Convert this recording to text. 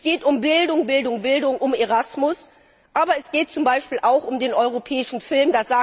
Es geht um Bildung, Bildung, Bildung, um ERASMUS, aber es geht zum Beispiel auch um den europäischen Film.